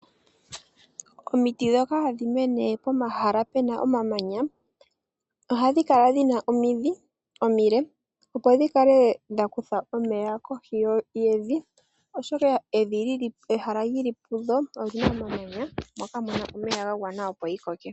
Omiti dhoka hadhi mene pomahala pena omamanya, ohadhi kala dhina omidhi omile, opo dhi kale dha kutha omeya kohi yemvi, oshoka ehala lyili pudho olyina omamanya moka muna omeya ga gwana opo yi koke.